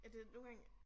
Ja det nogle gange